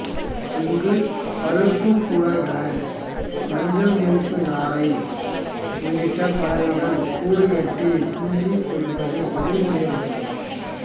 இங்கு பழுப்புக் கூழைக்கடா மஞ்சள் மூக்கு நாரை உள்ளிட்ட பறவைகள் கூடு கட்டி குஞ்சு பொரிப்பது பதிவு செய்யப்பட்டுள்ளது